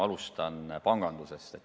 Alustan pangandusest.